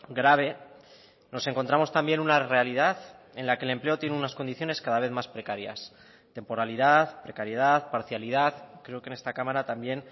grave nos encontramos también una realidad en la que el empleo tiene unas condiciones cada vez más precarias temporalidad precariedad parcialidad creo que en esta cámara también